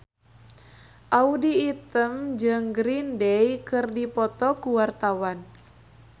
Audy Item jeung Green Day keur dipoto ku wartawan